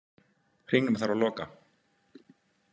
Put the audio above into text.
Hringnum þarf að loka.